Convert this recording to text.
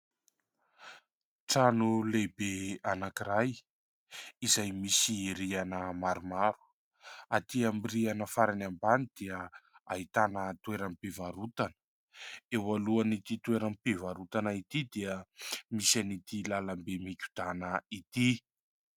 Trano lehibe anankiray izay misy rihana maromaro ; aty amin'ny rihana farany ambany dia ahitana toeram-pivarotana, eo alohan'ity toeram-pivarotana ity dia misy an'ity lalambe migodàna ity.